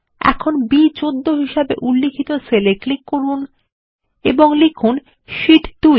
এখানে বি14 হিসেবে উল্লিখিত সেল এ ক্লিক করুন এবং লিখুন শীট 2